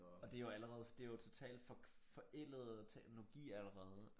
Og det jo allerede det jo totalt for forældet teknologi allerede